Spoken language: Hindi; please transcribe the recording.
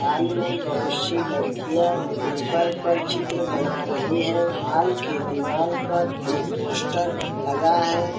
हाल में बहुत-सी लड़कियां पेपर पर चित्र बना रही हैं हाल के दिवाल पर एक पोस्टर लगा है।